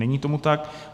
Není tomu tak.